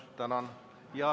Tänan!